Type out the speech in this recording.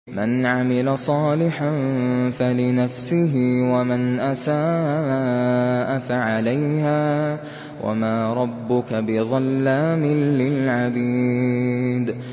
مَّنْ عَمِلَ صَالِحًا فَلِنَفْسِهِ ۖ وَمَنْ أَسَاءَ فَعَلَيْهَا ۗ وَمَا رَبُّكَ بِظَلَّامٍ لِّلْعَبِيدِ